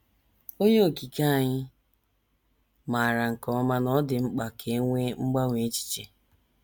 Onye Okike anyị maara nke ọma na ọ dị mkpa ka e nwee mgbanwe echiche.